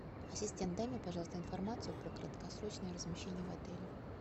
ассистент дай мне пожалуйста информацию про краткосрочное размещение в отеле